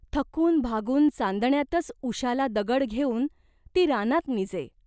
थकून भागून चांदण्यातच उशाला दगड घेऊन ती रानात निजे.